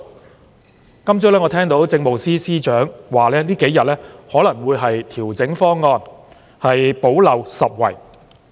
我今天早上聽到政務司司長說這數天可能會調整方案，補漏拾遺。